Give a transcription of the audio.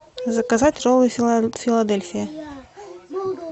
заказать роллы филадельфия